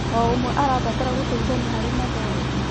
O ũmwe arabatara gũteithania harĩ mathomo.